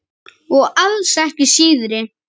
Og alls ekki síðri.